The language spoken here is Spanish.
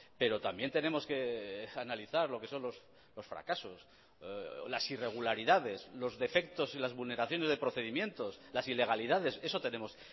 pero también tenemos que analizar lo que son los fracasos las irregularidades los defectos y las vulneraciones de procedimientos las ilegalidades eso tenemos